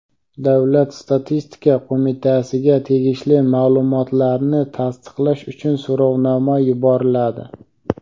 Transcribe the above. Davlat statistika qo‘mitasiga tegishli ma’lumotlarni tasdiqlash uchun so‘rovnoma yuboriladi.